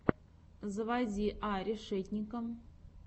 заводи а решетника